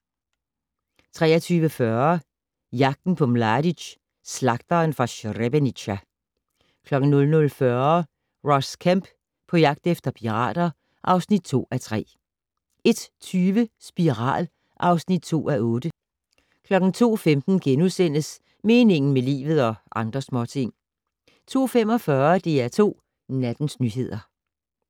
23:40: Jagten på Mladic - Slagteren fra Srebrenica 00:40: Ross Kemp på jagt efter pirater (2:3) 01:20: Spiral (2:8) 02:15: Meningen med livet - og andre småting * 02:45: DR2 Nattens nyheder